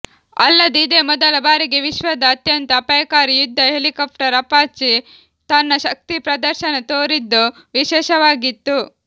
ಅಲ್ಲದೆ ಇದೇ ಮೊದಲ ಬಾರಿಗೆ ವಿಶ್ವದ ಅತ್ಯಂತ ಅಪಾಯಕಾರಿ ಯುದ್ಧ ಹೆಲಿಕಾಪ್ಟರ್ ಅಪಾಚೆ ತನ್ನ ಶಕ್ತಿ ಪ್ರದರ್ಶನ ತೋರಿದ್ದು ವಿಶೇಷವಾಗಿತ್ತು